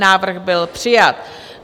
Návrh byl přijat.